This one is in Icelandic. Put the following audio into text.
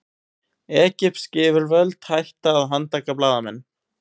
Egypsk yfirvöld hætti að handtaka blaðamenn